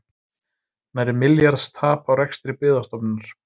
Nærri milljarðs tap á rekstri Byggðastofnunar